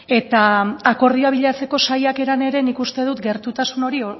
eta akordioa bilatzeko saiakeran ere nik uste dut gertutasun hori